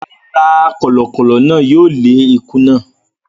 Rárá, kọ̀lọ̀kọ̀lọ̀ náà yóò lé ikún náà.